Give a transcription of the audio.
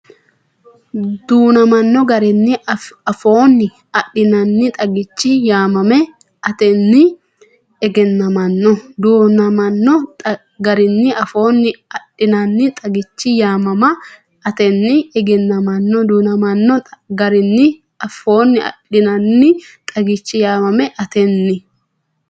Du’namanno garinni afoonni adhinannixagichi yaamam- atenni egennamanno Du’namanno garinni afoonni adhinannixagichi yaamam- atenni egennamanno Du’namanno garinni afoonni adhinannixagichi yaamam- atenni.